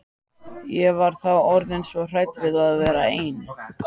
Ég var þá orðin svo hrædd við að vera ein.